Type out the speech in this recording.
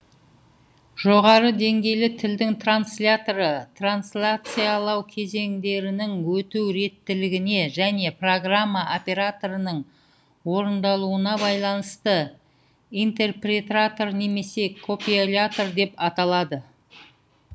жоғары деңгейлі тілдің трансляторы трансляциялау кезеңдерінің өту реттілігіне және программа операторының орындалуына байланысты интерпретатор немесе компилятор деп аталады